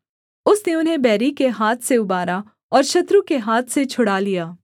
उसने उन्हें बैरी के हाथ से उबारा और शत्रु के हाथ से छुड़ा लिया